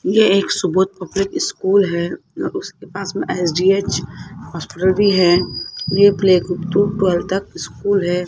ये एक Subodh public school है उसके पास मे एस_जी_एच हॉस्पिटल भी है ये प्ले ग्रुप टू टवेल्थ तक स्कूल है।